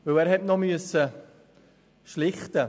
Er musste noch einen Streit schlichten.